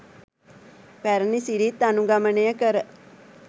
පැරැණි සිරිත් අනුගමනය කර